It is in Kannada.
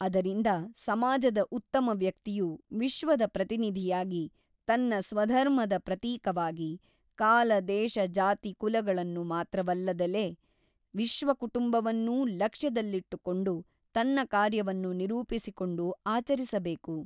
ಅದರಿಂದ ಸಮಾಜದ ಉತ್ತಮವ್ಯಕ್ತಿಯು ವಿಶ್ವದ ಪ್ರತಿನಿಧಿಯಾಗಿ ತನ್ನ ಸ್ವಧರ್ಮದ ಪ್ರತೀಕವಾಗಿ ಕಾಲ ದೇಶ ಜಾತಿ ಕುಲಗಳನ್ನು ಮಾತ್ರವಲ್ಲದಲೆ ವಿಶ್ವಕುಟುಂಬವನ್ನೂ ಲಕ್ಷ್ಯದಲ್ಲಿಟ್ಟುಕೊಂಡು ತನ್ನ ಕಾರ್ಯವನ್ನು ನಿರೂಪಿಸಿಕೊಂಡು ಆಚರಿಸಬೇಕು.